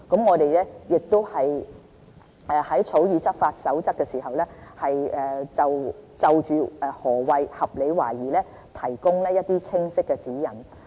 我們會在草擬執法守則的時候，就何謂"合理懷疑"提供一些清晰的指引。